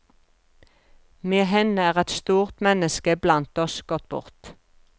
Med henne er et stort menneske blant oss gått bort.